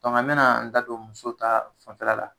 an bɛna n da don muso ta fanfɛla la